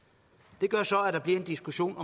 det gør så at der bliver en diskussion